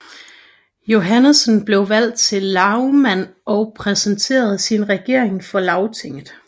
Johannesen blev valgt til lagmand og præsenterede sin regering for lagtinget